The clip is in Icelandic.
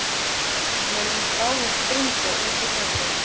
Megi hún bráðum springa út í frelsið.